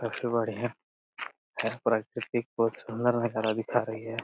सबसे बढिया है प्रकृति बोहोत सुंदर नजारा दिखा रही है।